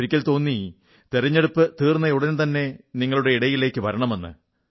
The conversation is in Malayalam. ഒരിക്കൽ തോന്നി തിരഞ്ഞെടുപ്പു തീർന്നയുടൻതന്നെ നിങ്ങളുടെ ഇടയിലേക്കു വരണമെന്ന്